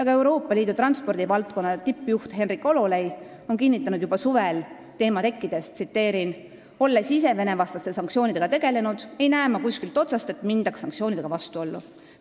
Ka Euroopa Liidu transpordivaldkonna tippjuht Henrik Hololei kinnitas juba suvel, teema tekkides: "Olles ise Vene-vastaste sanktsioonidega tegelenud, ei näe ma kuskilt otsast, et mindaks sanktsioonidega vastuollu.